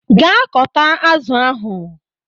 Gaa kọta azụ ahụ!